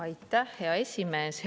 Aitäh, hea esimees!